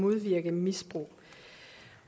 uddannelse